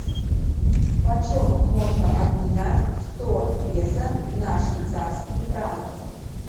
почем можно обменять сто песо на швейцарские франки